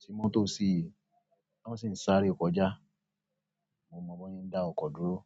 tí motọ́ sí, tan sì ń sáré kọjá. Mo mọ bọ́ se ń dá ọkọ̀ dúró.